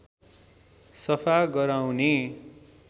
सफा गराउने